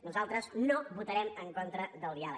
nosaltres no votarem en contra del diàleg